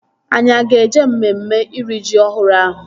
Anyị a ga-eje emume iri ji ọhụrụ ahụ?